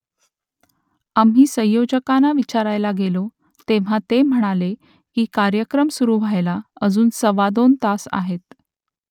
आम्ही संयोजकांना विचारायला गेलो तेव्हा ते म्हणाले की कार्यक्रम सुरू व्हायला अजून सव्वादोन तास आहेत